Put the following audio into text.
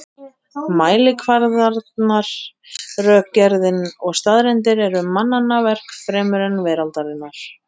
Mælikvarðarnir, rökgerðin og staðreyndirnar eru mannanna verk fremur en veraldarinnar.